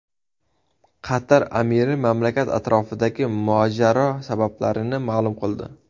Qatar amiri mamlakat atrofidagi mojaro sabablarini ma’lum qildi.